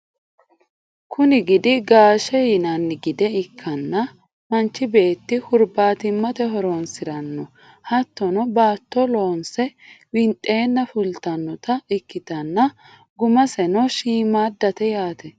kuni gidi gaashete yinanni gide ikkanna, manchi beetti hurbaatimmate horonsiranno. hattono baatto loonse winxeenna fultannota ikkitanna gummaseno shiimmaaddate yaate ?